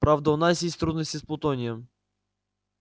правда у нас есть трудности с плутонием